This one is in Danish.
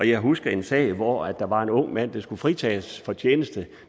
jeg husker en sag hvor der var en ung mand der skulle fritages for tjeneste